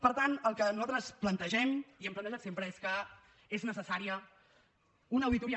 per tant el que nosaltres plantegem i hem plantejat sempre és que és necessària una auditoria